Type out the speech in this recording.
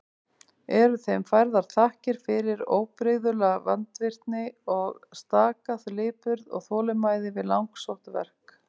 Eru þeim færðar þakkir fyrir óbrigðula vandvirkni og staka lipurð og þolinmæði við langsótt verk.